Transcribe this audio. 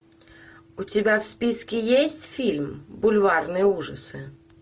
у тебя в списке есть фильм бульварные ужасы